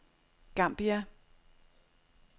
Gambia